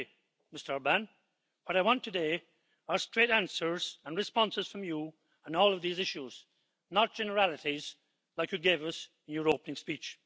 Frankly, Mr Orbán, what I want today are straight answers and responses from you on all of these issues, not generalities like you gave us in your opening speech.